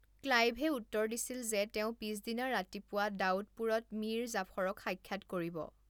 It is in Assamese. ক্লাইভে উত্তৰ দিছিল যে তেওঁ পিছদিনা ৰাতিপুৱা দাউদপুৰত মীৰ জাফৰক সাক্ষাৎ কৰিব।